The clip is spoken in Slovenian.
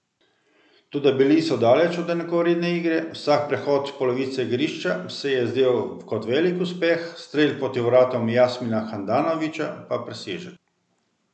Toda bili so daleč od enakovredne igre, vsak prehod polovice igrišča se je zdel kot velik uspeh, strel proti vratom Jasmina Handanovića pa presežek.